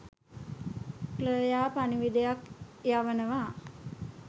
Claire පණිවිඩයක් යවනවා